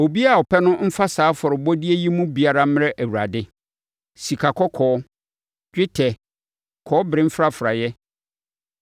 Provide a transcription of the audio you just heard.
Obiara a ɔpɛ no mfa saa afɔrebɔdeɛ yi mu biara mmrɛ Awurade: “sikakɔkɔɔ, dwetɛ, kɔbere mfrafraeɛ;